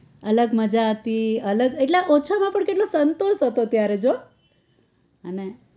અલગ મજા હતી એટલે ઓછા માં પણ કેટલો સંતોષ હતો ત્યારે જો